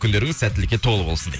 күндеріңіз сәттіліке толы болсын дейді